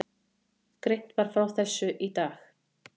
Greint var frá þessu í dag